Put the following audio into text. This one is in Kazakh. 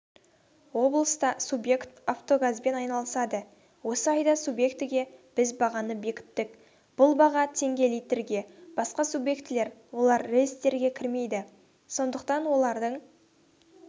облыста субъект автогазбен айналысады осы айда субъектіге біз бағаны бекіттік бұл баға теңге литрге басқа субъектілер олар реестрге кірмейді сондықтан олардың